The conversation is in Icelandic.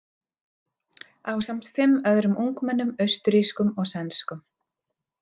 Ásamt fimm öðrum ungmennum, austurrískum og sænskum.